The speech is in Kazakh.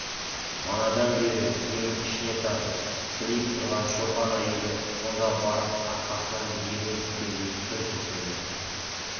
манадан бері демін ішіне тартып сілейіп тұрған шопан әйелі сонда барып арқасынан диірмен түскендей бір күрсінді